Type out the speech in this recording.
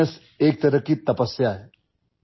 मित्रांनो तंदुरुस्ती एक तपस्या आहे